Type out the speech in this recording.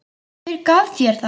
Hver gaf þér það?